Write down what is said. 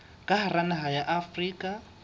ka hara naha ya afrika